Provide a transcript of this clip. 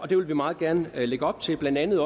det vil vi meget gerne lægge op til blandt andet